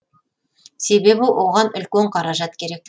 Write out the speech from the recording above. себебі оған үлкен қаражат керек